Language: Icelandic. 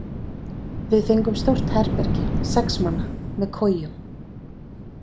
Við fengum stórt herbergi, sex manna, með kojum.